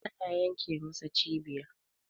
ana yenke masa cibiya